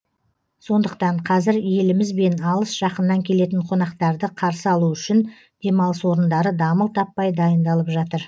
сондықтан қазір еліміз бен алыс жақыннан келетін қонақтарды қарсы алу үшін демалыс орындары дамыл таппай дайындалып жатыр